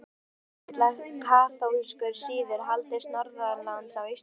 Jón Arason vill að kaþólskur siður haldist norðanlands á Íslandi.